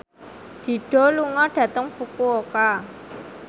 Dido lunga dhateng Fukuoka